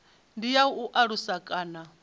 ndi ya u alusa kana